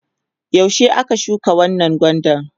yaushe aka shuka wannan gwandan?